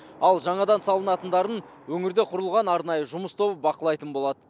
ал жаңадан салынатындарын өңірде құрылған арнайы жұмыс тобы бақылайтын болады